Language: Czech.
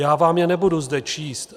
Já vám je nebudu zde číst.